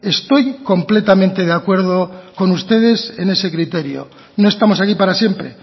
estoy completamente de acuerdo con ustedes en ese criterio no estamos aquí para siempre